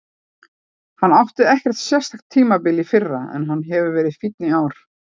Hann átti ekkert sérstakt tímabil í fyrra en hann hefur verið fínn í ár.